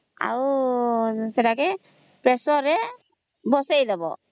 ଆଉ ସେଟାକେ pressure ରେ ବସେଇଦେବା